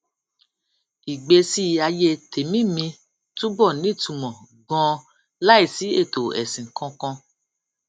ìgbésí ayé tèmí mi túbò nítumò ganan láìsí ètò èsìn kankan